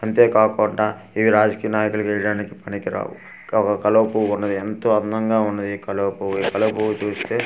అంతే కాకుండా ఇవి రాజకీయ నాయకులు చేయడానికి పనికి రావు ఒక కలువ పువ్వు ఉన్నది ఎంతో అందంగా ఉన్నది ఈ కలువ పువ్వు ఈ కలువ పువ్వు చూస్తే .